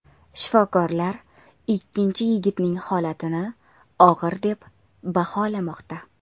Shifokorlar ikkinchi yigitning holatini og‘ir deb baholamoqda.